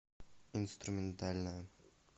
инструментальная